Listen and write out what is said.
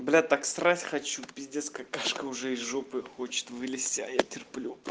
блять так срать хочу пиздец какашка уже из жопы хочет вылезти а я терплю